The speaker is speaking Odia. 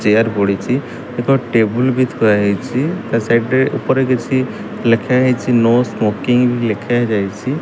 ଚେୟାର୍ ପଡିଚି ଏକ ଟେବୁଲ୍ ବି ଥୁଆହେଇଚି ତା ସାଇଡ୍ ରେ ଉପରେ କିଛି ଲେଖାହେଇଚି ନୋ ସ୍ମୋକିଙ୍ଗ୍ ଲେଖାଯାଇଚି।